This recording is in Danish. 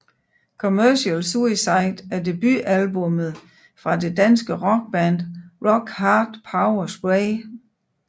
Commercial Suicide er debutalbummet fra det danske rockband Rock Hard Power Spray